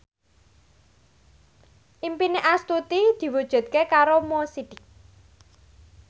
impine Astuti diwujudke karo Mo Sidik